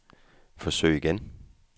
forsøg igen